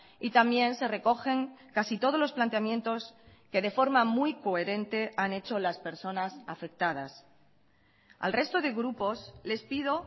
y también se recogen casi todos los planteamientos que de forma muy coherente han hecho las personas afectadas al resto de grupos les pido